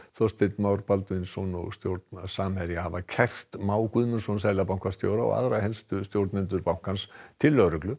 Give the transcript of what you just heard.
Þorsteinn Már Baldvinsson og stjórn Samherja hafa kært Má Guðmundsson seðlabankastjóra og aðra helstu stjórnendur bankans til lögreglu